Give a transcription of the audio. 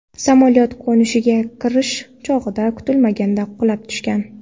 Samolyot qo‘nishga kirish chog‘ida kutilmaganda qulab tushgan.